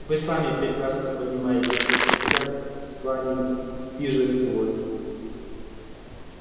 вы сами прекрасно понимаете что сейчас с вами движет злость